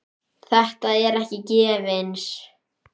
Þetta er ekki gefins.